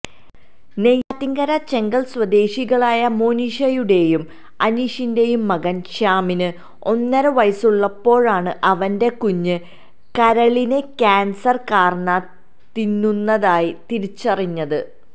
നെയ്യാറ്റിൻകര ചെങ്കൽ സ്വദേശികളായ മോനിഷയുടെയും അനീഷിന്റെയും മകൻ ശ്യാമിന് ഒന്നരവയസുള്ളപ്പോഴാണ് അവന്റെ കുഞ്ഞ് കരളിനെ ക്യാൻസർ കാർന്ന് തിന്നുന്നതായി തിരിച്ചറിഞ്ഞത്